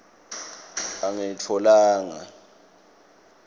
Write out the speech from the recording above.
angilitfolanga